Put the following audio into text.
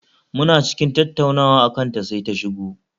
Muna cikin tattaunawa akan ta sai ta shigo